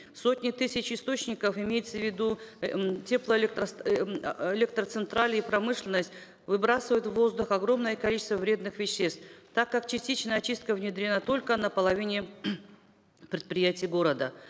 сотни тысяч источников имеются в виду электроцентрали промышленность выбрасывают в воздух огромное количество вредных веществ так как частичная очистка внедрена только на половине предприятий города